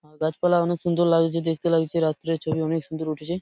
আ গাছপালা অনেক সুন্দর লাগছে দেখতে লাগছে রাত্রের ছবি অনেক সুন্দর উঠেছে।